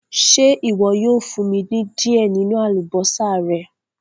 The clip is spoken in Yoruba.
Ṣé iwọ yóò fún mí ni diẹ ninu àlúbọsà rẹ̀?